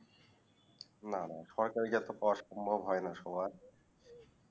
না না সরকারি job পাওয়া সম্ভব হয়ে না সবার